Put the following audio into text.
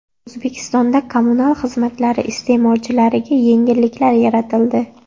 O‘zbekistonda kommunal xizmatlari iste’molchilariga yengilliklar yaratildi.